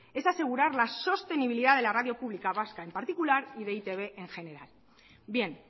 es asegurar la sostenibilidad de la radio pública vasca en particular y de e i te be en general bien